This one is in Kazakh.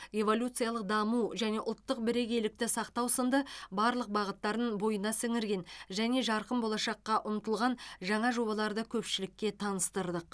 эволюциялық даму және ұлттық бірегейлікті сақтау сынды барлық бағыттарын бойына сіңірген және жарқын болашаққа ұмтылған жаңа жобаларды көпшілікке таныстырдық